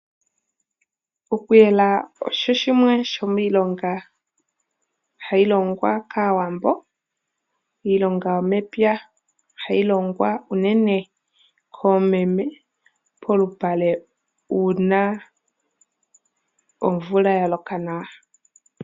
Okuyela osho shimwe shomilonga hayi longwa kaawambo, iilonga yomepya hayi longwa unene koomeme polupale una omvula yaloka nawa.